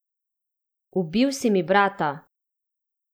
Ubil si mi brata!